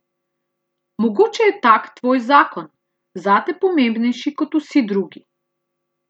Mogoče je tak tvoj zakon, zate pomembnejši kot vsi drugi.